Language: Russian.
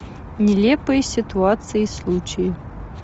нелепые ситуации и случаи